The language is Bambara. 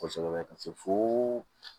Kosɛbɛ ka se fo